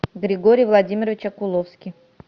григорий владимирович окуловский